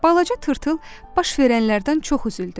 Balaca tırtıl baş verənlərdən çox üzüldü.